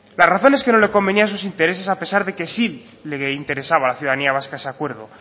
la razón es que no le convenía a sus intereses a pesar de que si le interesaba a la ciudadanía vasca ese acuerdo